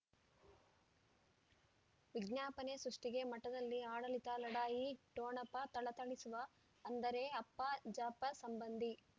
ವಿಜ್ಞಾಪನೆ ಸೃಷ್ಟಿಗೆ ಮಠದಲ್ಲಿ ಆಡಳಿತ ಲಢಾಯಿ ಠೊಣಪ ಥಳಥಳಿಸುವ ಅಂದರೆ ಅಪ್ಪ ಜಾಫರ್ ಸಂಬಂಧಿ